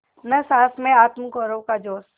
न सास में आत्मगौरव का जोश